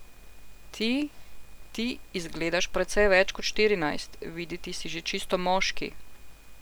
Ti, ti zgledaš precej več kot štirinajst, videti si že čisto moški.